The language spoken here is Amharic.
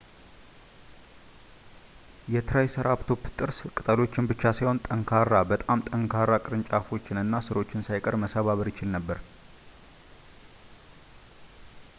የ ትራይሰራፕቶፕ ጥርስ ቅጠሎችን ብቻ ሳይሆን በጣም ጠንካራ ቅርንጫፎችን እና ሥሮችን ሳይቀር መሰባበር ይችል ነበር